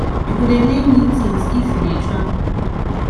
you go dey learn new tins if you dey travel